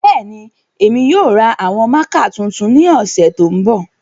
Bẹẹni, Emi yoo ra awọn mạạka tuntun ni ọsẹ to nbọ.